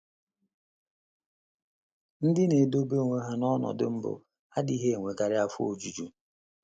Ndị na - edebe onwe ha n’ọnọdụ mbụ adịghị enwekarị afọ ojuju.